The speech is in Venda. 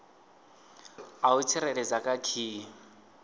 a u tsireledza kha khiyi